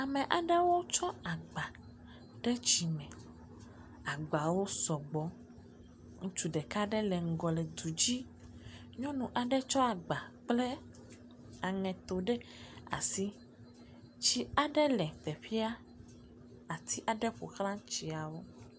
Ame aɖewo tsɔ agba ɖe dzime. Agbawo sɔgbɔ. Ŋutsu ɖeka aɖe le ŋgɔ le du dzi. Nyɔnu aɖe tsɔ agba kple aŋeto ɖe asi. Tsi aɖe le teƒea, atsi aɖe ƒoxla tsiawo.